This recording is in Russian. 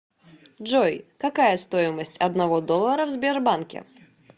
джой какая стоимость одного доллара в сбербанке